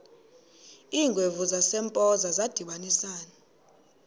iingwevu zasempoza zadibanisana